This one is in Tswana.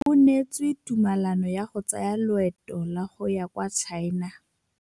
O neetswe tumalanô ya go tsaya loetô la go ya kwa China.